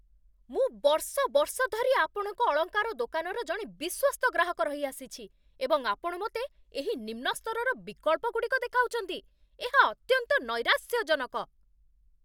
ମୁଁ ବର୍ଷ ବର୍ଷ ଧରି ଆପଣଙ୍କ ଅଳଙ୍କାର ଦୋକାନର ଜଣେ ବିଶ୍ୱସ୍ତ ଗ୍ରାହକ ରହିଆସିଛି, ଏବଂ ଆପଣ ମୋତେ ଏହି ନିମ୍ନ ସ୍ତରର ବିକଳ୍ପଗୁଡ଼ିକ ଦେଖାଉଛନ୍ତି? ଏହା ଅତ୍ୟନ୍ତ ନୈରାଶ୍ୟଜନକ।